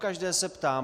Pokaždé se ptám.